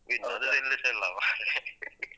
ಈಗ ಇಲ್ಲ